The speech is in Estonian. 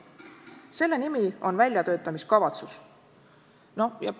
Selle nimi on väljatöötamiskavatsus, VTK.